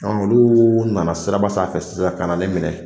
olu nana siraba sanfɛ sisan ka na ne minɛ